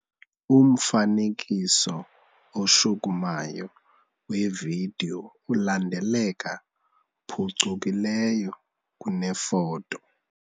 Umfanekiso oshukumayo wevidiyo ulandeleka phucukileyo kunefoto.